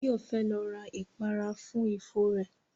Báyọ̀ fẹ́ lọ ra ìpara fún ifo rẹ